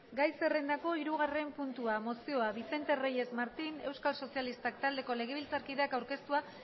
gai zerrendako hirugarren puntua mozioa vicente reyes martín euskal sozialistak taldeko legebiltzarkideak aurkeztua